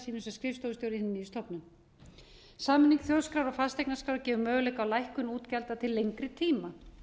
sínu sem skrifstofustjóri í hinni nýju stofnun sameining þjóðskrár og fasteignaskrár gefur möguleika á lækkun útgjalda til lengri tíma